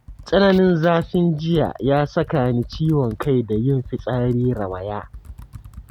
Tsananin zafin jiya ya saka ni ciwon kai da yin fitsari rawaya.